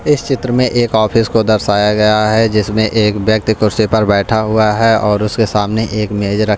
इस चित्र में एक ऑफिस को दर्शाया गया है जिसमें एक व्यक्ति कुर्सी पर बैठा हुआ है और उसके सामने एक मेजर --